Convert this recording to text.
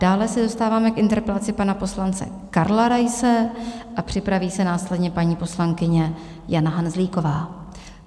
Dále se dostáváme k interpelaci pana poslance Karla Raise a připraví se následně paní poslankyně Jana Hanzlíková.